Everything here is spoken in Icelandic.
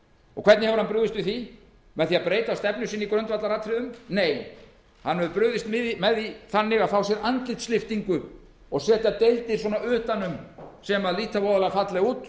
og hvernig hefur hann brugðist við því með því að breyta stefnu sinni í grundvallaratriðum nei hann hefur brugðist við því á þann veg að fá sér andlitslyftingu og setja deildir svona utan um sem líta voðalega fallega út